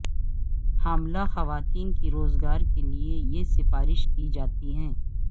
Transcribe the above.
حاملہ خواتین کی روزگار کے لئے یہ سفارش کی جاتی ہے